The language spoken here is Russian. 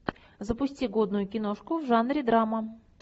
запусти годную киношку в жанре драма